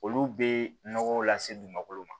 Olu bɛ nɔgɔw lase dugumakolo ma